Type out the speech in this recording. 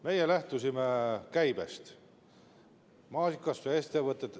Meie lähtusime käibest.